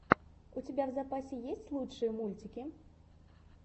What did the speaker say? у тебя в запасе есть лучшие мультики